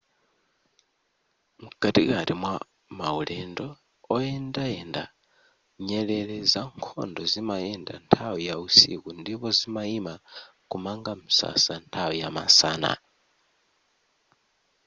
mkatikati mwa maulendo oyendayenda nyerere zankhondo zimayenda nthawi ya usiku ndipo zimayima kumanga msasa nthawi ya masana